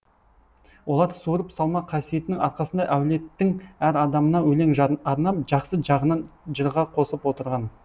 олар суырып салма қасиетінің арқасында әулеттің әр адамына өлең арнап жақсы жағынан жырға қосып отырған